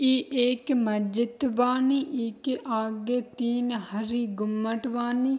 इ एक महजिद बानी इके आगे तीन हरी गुम्बद बानी।